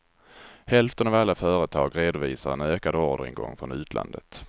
Hälften av alla företag redovisar en ökad orderingång från utlandet.